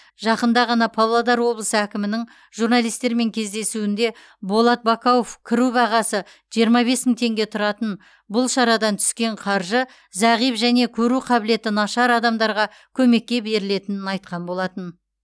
жақында ғана павлодар облысы әкімінің журналистермен кездесуінде болат бакауов кіру бағасы жиырма бес мың теңге тұратын бұл шарадан түскен қаржы зағип және көру қабілеті нашар адамдарға көмекке берілетінін айтқан болатын